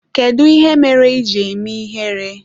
Kedụ ihe mere iji eme ihere?